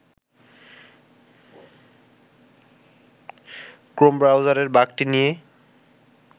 Chrome ব্রাউজারের বাগটি নিয়ে